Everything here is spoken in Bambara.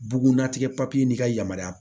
Bugunnatigɛ n'i ka yamaruyaya